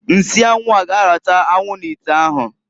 Nsị anwụ a g'arata anwụ n'ite ahụ